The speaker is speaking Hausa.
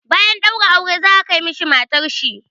Bayan ɗaura aure za a kai mishi matar shi.